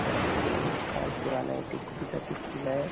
वही एक साल पुराना के किला ए।